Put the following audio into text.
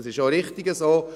Das ist auch richtig so.